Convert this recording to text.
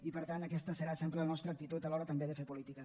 i per tant aquesta serà sempre la nostra actitud a l’hora també de fer política